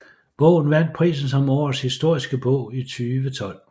Bogen vandt prisen som Årets Historiske Bog i 2012